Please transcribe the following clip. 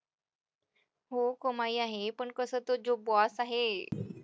हो कमाई आहे हे पण कसं तो जो boss आहे,